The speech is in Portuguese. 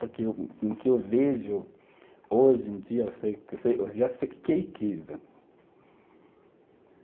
Porque o que eu vejo hoje em dia, eu sei, eu sei, eu já sei o que que é riqueza.